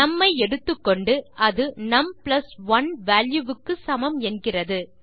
நும் ஐ எடுத்துக்கொண்டு அது நும் பிளஸ் 1 வால்யூ க்கு சமம் என்கிறது